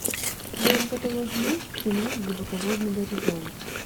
в твоем каталоге есть кино глубоководный горизонт